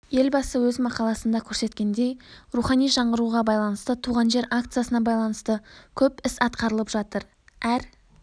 елбасы өз мақаласында көрсеткендей рухани жаңғыруға байланысты туған жер акциясына байланысты көп іс атқарылып жатыр әр